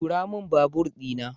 Tura min babur di na.